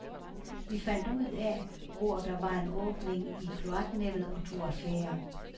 Vi fandt ud af, hvor der var en åbning i kloaknettet og tog affære.